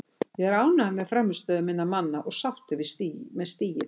Ég er ánægður með frammistöðu minna manna og sáttur með stigið.